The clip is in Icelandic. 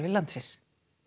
landsins